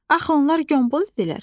Axı onlar qombol idilər.